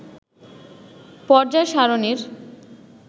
পর্যায় সারণীর